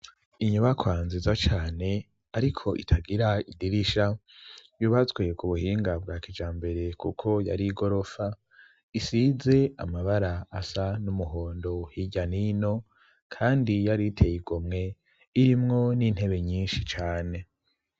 Inyobakwa nziza cane ariko itagira idirisha yubatswe ku buhinga bwa kija mbere kuko yari igorofa isize amabara asa n'umuhondo higanino kandi yari iteye igomwe irimwo n'intebe nyinshi cane.